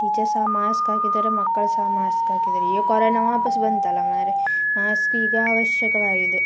Teachers ಸಾ mask ಹಾಕಿದ್ದಾರೆ ಮಕ್ಕಳ್ ಸಾ ಮಾಸ್ಕ್ ಹಾಕಿದ್ದಾರೆ ಈ ಕರೋನಾ ವಾಪಸ್ ಬಂತಲ್ಲಾ ಮಾರೆ. ಮಾಸ್ಕ್ ಈಗಾ ಅವಶ್ಯಕವಾಗಿದೆ.